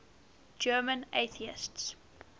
german atheists